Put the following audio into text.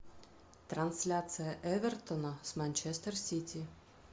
трансляция эвертона с манчестер сити